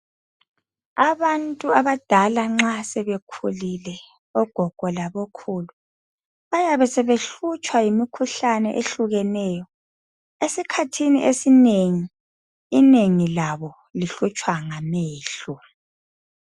Abantu abadala nxa sebekhulile ogogo labokhulu, bayabe sebehlutshwa yimikhuhlane ehlukeneyo. Esikhathini esinengi, inengi labo lihlutshwa ngamehlo.